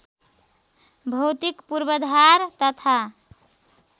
भौतिक पूर्वाधार तथा